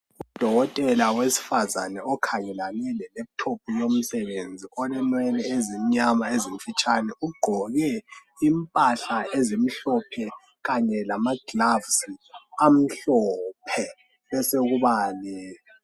Udolotela owesifazana okhangelane le lephuthophu yomsebenzi olenwele esimnyama ezimfitshane, ugqoke impahla ezimhlophe Kanye lamagilovisi amhlophe.